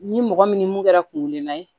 Ni mɔgɔ min ni mun kɛra kungelenna ye